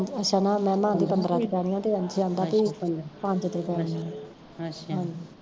ਅੱਛਾ ਮਹਿਮਾ ਕਹਿੰਦੀ ਪੰਦਰਾਂ ਦੇ ਪੈਨੀਆ ਤੇ ਅੰਸ਼ ਕਹਿਦਾ ਵੀ ਪੰਜ ਤੇ ਪੈਨੀਆ ਹਾਂਜੀ